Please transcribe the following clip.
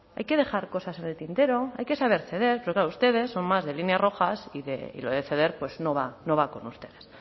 hay que dejar cosas en el tintero hay que saber ceder pero claro ustedes son más de líneas rojas y lo de ceder pues no va no va con ustedes